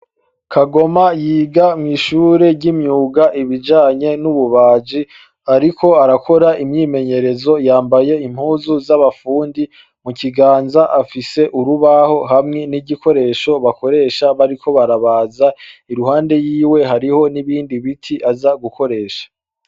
Kagoma yoga mw'ishuri ry'imyuga ibijanye n'ububaji. Ariko arakora imyimenyerezo yambaye impuzu z'abafundi, mu kiganza afise urubaho hamwe n'igikoresho bakoresha bariko barabaza, irunde yiwe hariho n'ibindi biti aza gukoresha.